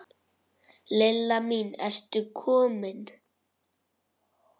Lilla mín, ertu komin?